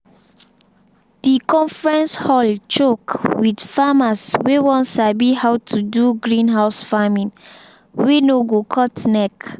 the conference hall choke with farmers wey wan sabi how to do greenhouse farming wey no go cut neck.